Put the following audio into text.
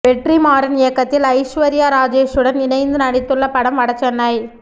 வெற்றிமாறன் இயக்கத்தில் ஐஸ்வர்யா ராஜேஷுடன் இணைந்து நடித்துள்ள படம் வடச்சென்னை